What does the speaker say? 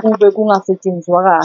kube kungasetshenzwanga.